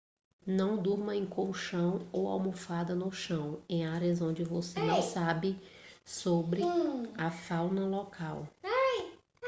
não durma em colchão ou almofada no chão em áreas onde você não sabe sobre a fauna local